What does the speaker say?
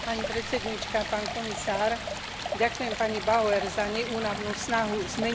Ďakujem pani Bauer za neúnavnú snahu zmeniť postavenie ženy v tomto probléme.